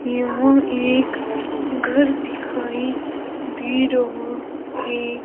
यहां एक घर दिखाई दे रहा है।